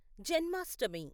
Janmashtami